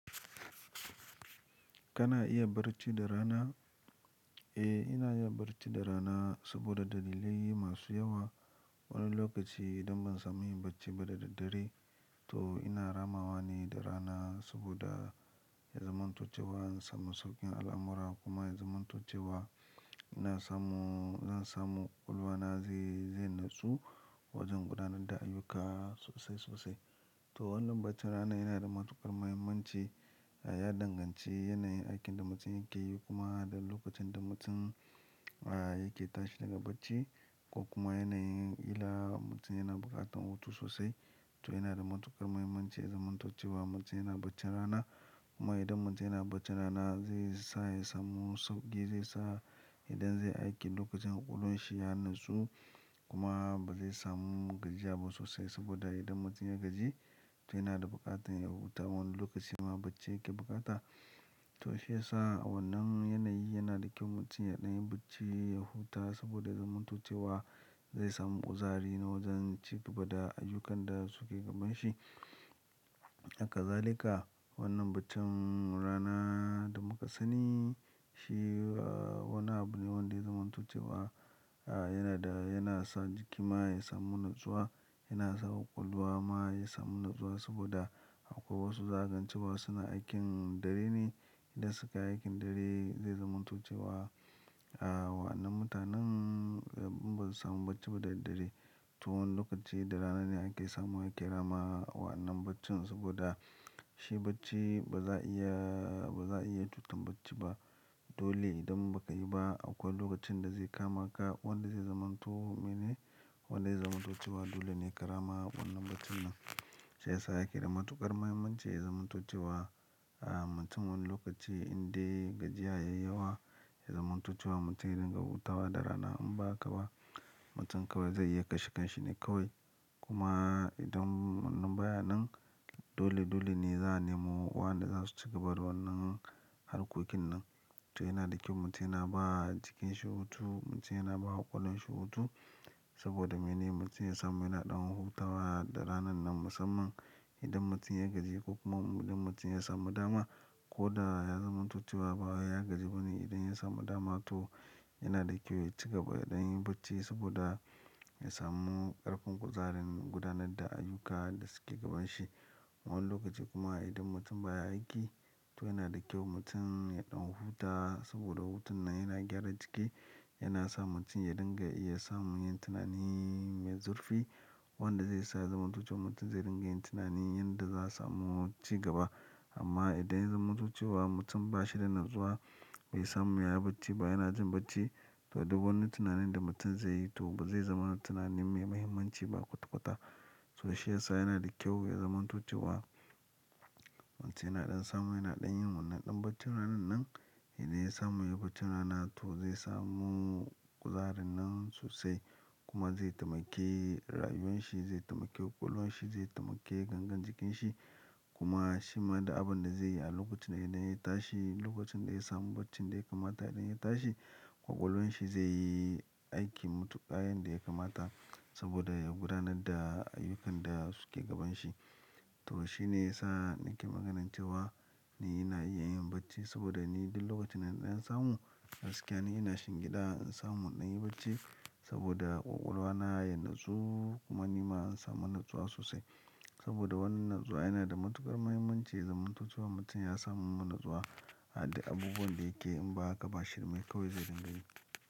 Kana iya barci da rana? Eh, ina iya barci da rana saboda dalilai masu yawa. Wani lokaci idan ban samu yin bacci ba da daddare, to ina rama wa ne da rana saboda ya zamanto cewa in samu saukin al'amura kuma ya zamanto cewa ina samu, zan samu ƙwaƙwalwa na zai, zai natsu wajen gudanar da ayyuka sosai sosai. To wannan baccin rana yana da matuƙar muhimmanci. Ya danganci yanayin aikin da mutum yake yi kuma da lokacin da mutum, ah, yake tashi daga bacci ko kuma yanayin ƙila mutum yana buƙatan hutu sosai. To yana da matuƙar muhimmanci ya zamanto cewa mutum yana bacci rana. Kuma idan mutum yana bacci rana zai sa ya samu sauƙi, zai sa idan zai aiki lokacin ƙwaƙwalwan shi ya natsu kuma ba zai samu gajiya ba sosai saboda idan mutum ya gaji to yana da buƙatar ya huta wani lokacin ma bacci yake buƙata. To shi ya sa wannan yanayi yana da kyau mutum ya ɗan yi bacci, ya huta saboda ya zamanto cewa zai samu kuzari na wajen ci gaba da ayyukan da suke gaban shi. Haka zalika wannan baccin rana da muka sani shi, ah, wannan abu ne wanda ya zamantuce wa, ah, yana da, yana sa jiki ma ya samu natsuwa, yana sa ƙwaƙwalwa ma ya samu natsuwa saboda akwai wasu zagancewa su suna aikin dare ne. Idan suka yi aikin dare zai zamanto cewa, ah, wa'annan mutanen, ah, imba su samu bacci ba da daddare. To wannan lokaci da rana ne ake samu ake ramawa wa'annan baccin saboda shi bacci ba za a iya, ba za a iya cutar bacci ba. Dole idan ba ka yi ba akwai lokacin da zai kama ka wanda zai zamanto, mene, wanda zai zamanto cewa dole ne ka rama wannan baccin nan. Shi ya sa yake da matuƙar muhimmanci ya zamantuce wa, ah, mutum wani lokaci inde gajiya yayi yawa ya zamanto cewa mutum ya dinga hutawa da rana in ba haka ba mutum kawai zai iya kashe kanshi ne kawai. Kuma idan wannan baya nan dole dole ne za a nemo waɗanda za su ci gaba da wannan harkokin nan. To yana da kyau mutum yana ba jikin shi hutu, mutum yana ba ƙwaƙwalwar shi hutu saboda mene? Mutum ya samu yana ɗan hutawa da ranan nan musamman idan mutum ya gaji ko kuma idan mutum ya samu dama ko da ya zamanto cewa ba wai yagaji ba ne idan ya samu dama to yana da kyau ya ci gaba ya ɗanyi bacci saboda ya samu ƙarfin kuzarin gudanar da ayyuka da suke gaban shi. Wan lokaci kuma idan mutum baya aiki to yana da kyau mutum ya ɗan huta saboda hutun nan yana gyara jiki, yana sa mutum ya dinga iya samun yin tunani mai zurfi wanda zai sa zamanto cewa mutum zai dinga yin tunani yanda za'a samu ci gaba. Amma idan ya zamanto cewa mutum ba shi da natsuwa bai samu ya yi bacci ba yana jin bacci to duk wani tunanin da mutum zai yi to ba zai zama tunani mai muhimmanci ba kwata kwata. To shi ya sa yana da kyau ya zamanto cewa mutum yana ɗan samu yana ɗan yin wannan ɗan bacci ranan nan. Idan ya samu yayi bacci rana to zai samu kuzarin nan sosai kuma zai taimake rayuwan shi, zai taimaki ƙwaƙwalwan shi, zai taimake gangan jikin shi kuma shima duk abun da zai yi a lokacin idan yana yi tashi, lokacin da ya samu bacci, inda ya kamata idan ya tashi ƙwaƙwalwar shi zai yi aiki matuƙa yanda ya kamata saboda ya gudanar da ayyukan da suke gaban shi. To shi ne ya sa nake maganance wa ni ina iya yin bacci saboda ni duk lokacin dana ɗan samu gaskiya ni ina shingi ɗa in samu na yi bacci saboda ƙwaƙwalwa na ya natsu kuma ni ma in samu natsuwa sosai. Saboda wannan natsuwa yana da matuƙar muhimmanci ya zamanto cewa mutum ya samu wannan natsuwa a duk abubuwan da yake in ba haka ba shirmai kawai zai dinga yi.